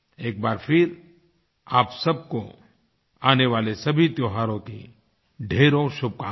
एक बार फिर आप सब को आने वाले सभी त्योहारों की ढ़ेरों शुभकामनाएँ